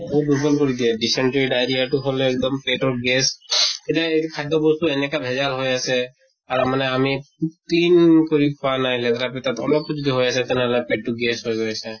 বৰ দুৰ্বল কৰি দিয়ে dysentery diarrhea টো হʼলে এক্দম পেটৰ gas যে এইটো খাদ্য় বস্তু এনেকা ভেজাল হৈ আছে আৰু মানে আমি উ clean কৰি খোৱা নাই, লেতেৰা পেতেৰা অল যদি হৈ আছে তেনে হʼলে পেট টো gas হৈ গৈ আছে